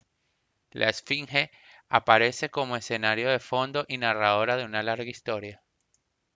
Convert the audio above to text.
la esfinge aparece como escenario de fondo y narradora de una larga historia